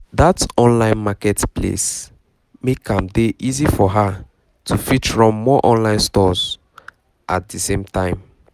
that online market place make am dey easy for her to fit run more online shops at the same time